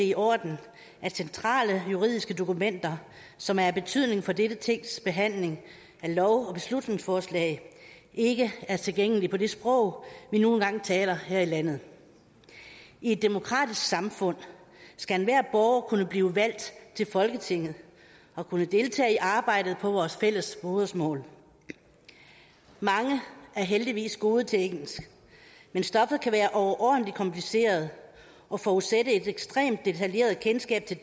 i orden at centrale juridiske dokumenter som er af betydning for dette tings behandling af lov og beslutningsforslag ikke er tilgængelige på det sprog vi nu engang taler her i landet i et demokratisk samfund skal enhver borger kunne blive valgt til folketinget og kunne deltage i arbejdet på vores fælles modersmål mange er heldigvis gode til engelsk men stoffet kan være overordentlig kompliceret og forudsætte et ekstremt detaljeret kendskab til